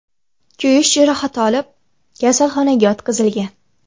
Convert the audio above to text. kuyish jarohati olib, kasalxonaga yotqizilgan.